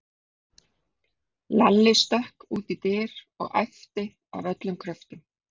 Lalli stökk út í dyr og æpti af öllum kröftum